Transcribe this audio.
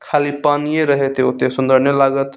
खाली पानिये रहेते ओते सुंदर नाय लागत --